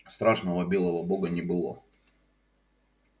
страшного белого бога не было